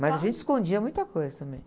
Mas a gente escondia muita coisa também.